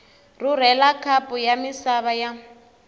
rhurhela khapu ya misava ya